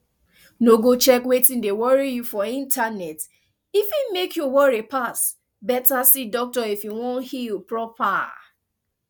no go check wetin dey worry you for internet e fit mek you worry pass better see doctor if you wan heal proper